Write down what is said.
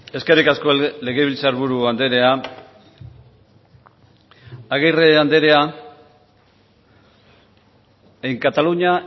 eskerrik asko legebiltzar buru andrea agirre andrea en cataluña